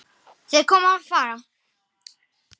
Þeir koma og fara.